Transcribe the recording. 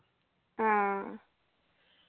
ആ